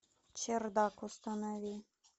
чердак установи